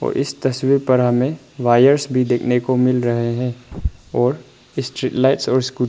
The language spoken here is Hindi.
और इस तस्वीर पर हमे वायर्स भी देखने को मिल रहे है और स्ट्रीट लाइट्स और--